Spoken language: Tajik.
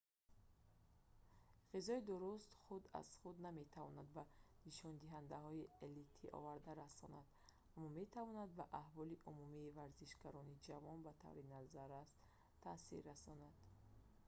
ғизои дуруст худ аз худ наметавонад ба нишондиҳандаҳои элита оварда расонад аммо метавонад ба аҳволи умумии варзишгарони ҷавон ба таври назаррас таъсир расонад